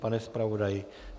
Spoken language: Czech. Pane zpravodaji?